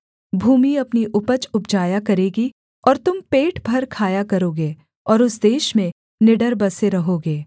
भूमि अपनी उपज उपजाया करेगी और तुम पेट भर खाया करोगे और उस देश में निडर बसे रहोगे